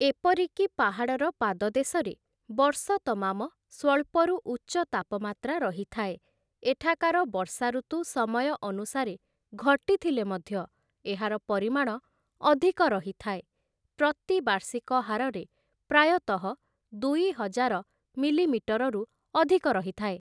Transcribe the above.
ଏପରିକି ପାହାଡ଼ର ପାଦଦେଶରେ, ବର୍ଷ ତମାମ ସ୍ୱଳ୍ପରୁ ଉଚ୍ଚ ତାପମାତ୍ରା ରହିଥାଏ, ଏଠାକାର ବର୍ଷା ଋତୁ ସମୟ ଅନୁସାରେ ଘଟିଥିଲେ ମଧ୍ୟ ଏହାର ପରିମାଣ ଅଧିକ ରହିଥାଏ, ପ୍ରତି ବାର୍ଷିକ ହାରରେ ପ୍ରାୟତଃ ଦୁଇହଜାର ମିଲିମିଟରରୁ ଅଧିକ ରହିଥାଏ ।